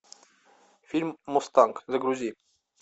фильм мустанг загрузи